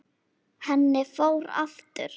Henni fór aftur.